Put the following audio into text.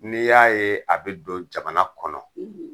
N'i y'a ye a be don jamana kɔnɔ